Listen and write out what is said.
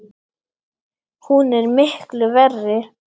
Hún er miklu verri!